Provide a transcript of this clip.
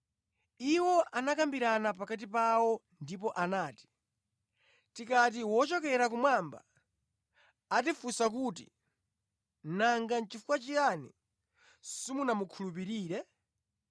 Iwo anakambirana pakati pawo ndipo anati, “Tikati, ‘Wochokera kumwamba,’ atifunsa kuti, ‘Nanga nʼchifukwa chiyani simunamukhulupirire?’